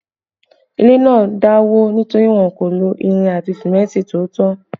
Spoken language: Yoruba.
Ilé náà dà wó nítorí wọn kò lo irin àti símẹ́ntì tó tó